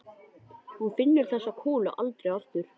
Hún finnur þessa kúlu aldrei aftur.